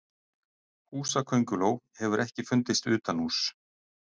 húsakönguló hefur ekki fundist utanhúss